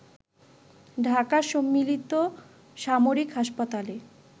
ঢাকার সম্মিলিত সামরিক হাসপাতালে